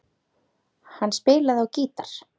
Hann spilaði á gítar.